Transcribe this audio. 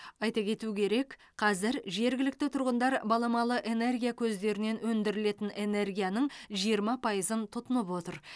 айта кету керек қазір жергілікті тұрғындар баламалы энергия көздерінен өндірілетін энергияның жиырма пайызын тұтынып отыр